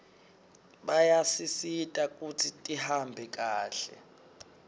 bayasisita kutsi tihambe kahle